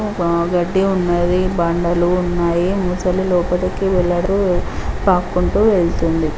గడ్డి ఉన్నది. బండలు ఉన్నాయి. ముసలి లోపలికి వేలాడు. పాకుంటూ వెళ్తుంది.